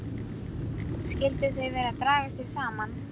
Skyldu þau vera að draga sig saman?